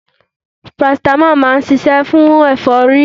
Paracetamol máa ń ṣiṣẹ́ fún ẹ̀fọ́rí